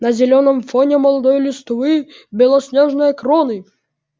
на зелёном фоне молодой листвы белоснежные кроны